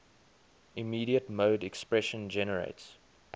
immediate mode expression generates